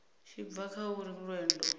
tshi bva kha uri lwendo